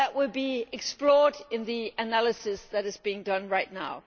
km. That will be explored in the analysis that is being done right now.